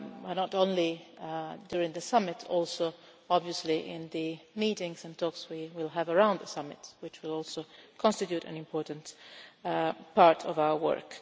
Not only during the summit but also obviously in the meetings and talks we will have around the summit, which will also constitute an important part of our work.